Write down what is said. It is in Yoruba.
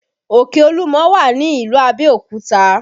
Òkè Olúmọ wà ní ìlú Abẹ́òkúta